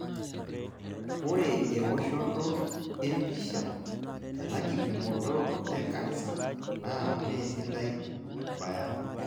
Ore ewoshoto empisha tenakipimoto e kansa naa mesidai abaya.